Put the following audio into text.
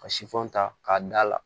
Ka sifɔn ta k'a da la